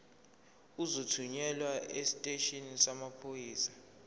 uzothunyelwa esiteshini samaphoyisa